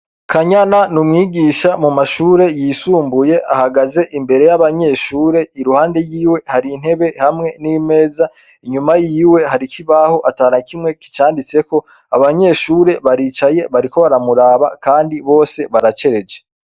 Kanyana n’umwigisha mu mashure yisumbuye , ahagaze imbere y'abanyeshure iruhande y'iwe hari intebe hamwe n'imeza, inyuma y'iwe hari kibaho atana kimwe kicanditseko abanyeshure baricaye bariko baramuraba kandi bose baracereje.